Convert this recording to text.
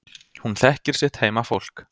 Hún þekkir sitt heimafólk.